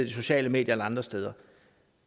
de sociale medier eller andre steder